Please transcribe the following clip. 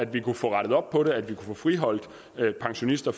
vi kunne få rettet op på det at vi kunne få friholdt pensionister